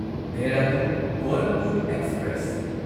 Dehradun Gorakhpur express